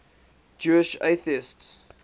jewish atheists